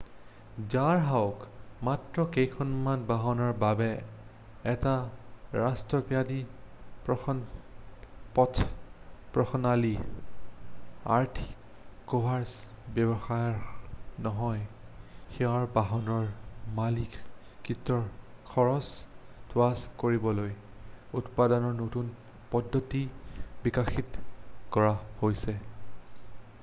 যাহওক মাত্ৰ কেইখনমান বাহনৰ বাবে এটা ৰাষ্ট্ৰব্যাপী পথপ্ৰণালী আৰ্থিকভাবে ব্যৱহাৰ্য নহয় সেইবাবে বাহনৰ মালিকীস্বত্বৰ খৰছ হ্ৰাস কৰিবলৈ উৎপাদনৰ নতুন পদ্ধতি বিকাশিত কৰা হৈছে